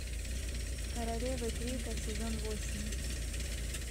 королевы крика сезон восемь